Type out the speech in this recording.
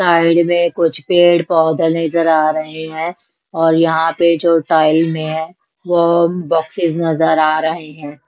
Side में कुछ पेड़ पौधे नजर आ रहे हैं और यहाँ पे जो टाइल में है वो बॉक्सेस नजर आ रहे हैं।